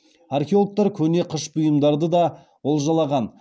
археологтар көне қыш бұйымдарды да олжалаған